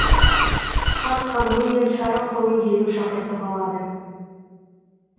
хан ханымы мен сары құлын дереу шақыртып алады